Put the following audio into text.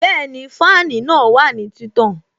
Bẹẹni, fáànù náà wà ní títàn